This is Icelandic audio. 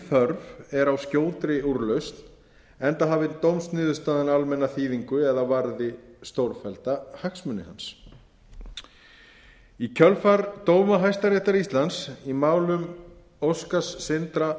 þörf er á skjótri úrlausn enda hafi dómsniðurstaðan almenna þýðingu eða varði stórfellda hagsmuni hans í kjölfar dóma hæstaréttar íslands í málum óskars sindra